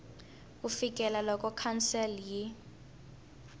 ku fikela loko council yi